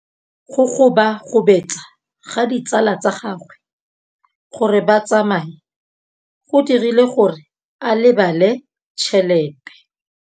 Go gobagobetsa ga ditsala tsa gagwe, gore ba tsamaye go dirile gore a lebale tšhelete.